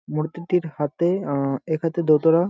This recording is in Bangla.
মূর্তির হাতে আ এক হাতে দোতারা ।